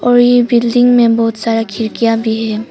और ये बिल्डिंग में बहुत सारा खिड़कियां भी है।